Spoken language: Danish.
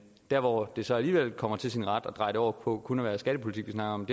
der hvor det så alligevel kommer til sin ret at dreje det over på kun at være skattepolitik vi snakker om